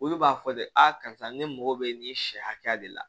Olu b'a fɔ de a karisa ne mago bɛ nin sɛ hakɛya de la